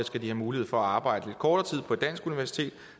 skal have mulighed for at arbejde lidt kortere tid på et dansk universitet